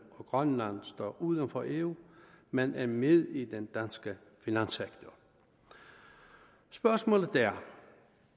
og grønland står uden for eu men er med i den danske finanssektor spørgsmålet er